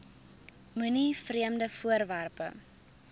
moenie vreemde voorwerpe